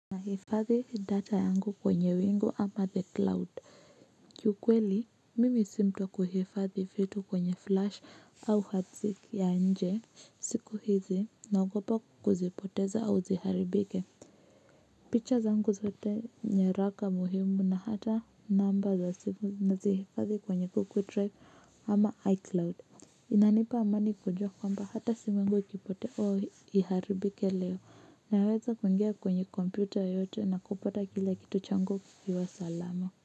Na hifadhi data yangu kwenye wingu ama the cloud kiukweli mimi si mtu wa kuhifadhi vitu kwenye flash au hati ya nje siku hizi na ogopa kuzipoteza au ziharibike picha zangu zote nyaraka muhimu na hata namba za simu na zihifadhi kwenye google drive ama icloud inanipa amani kujua kwamba hata simu yangu ikipotea oo iharibike leo naweza kuingia kwenye kompyuta yoyote na kupata kila kitu changu kikiwa salama.